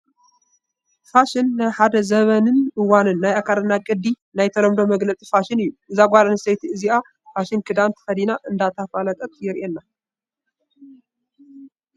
ፋሽን፡- ናይ ሓደ ዘበንን እዋን ናይ ኣካዳድና ቅዲ ናይ ተለምዶ መግለፂ ፋሽን እዩ፡፡ እዛ ጓልኣነስተይቲ እዚኣ ፋሽን ክዳን ተኸዲና እንትተፋልጥ የሪኤና፡፡